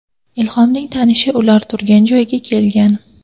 Ilhomning tanishi ular turgan joyga kelgan.